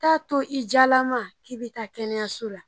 T'a to i jalama k'i be taa kɛnɛya so la.